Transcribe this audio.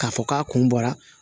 K'a fɔ k'a kun bɔra